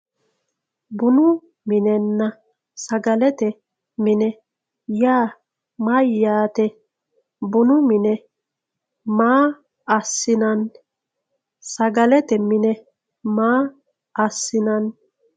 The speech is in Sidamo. bunu minenna sagalete mine yaa mayyaate? bunu mine maa assinanni? sagalete mine maa assinanni?